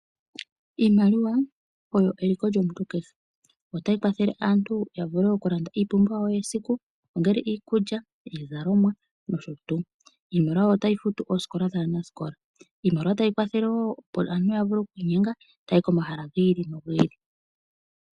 Iimaliwa oyo eliko lyomuntu kehe, otayi kwathele aantu ya vule okulanda iipumbiwa yesikukehe ongele iikulya, iizalomwa noshotu, iimaliwa otayi futu oosikola dhaanasikola ,iimaliwa otayi kwathele wo opo aantu yavule okwiinyenga taya yi komahala giili no giili.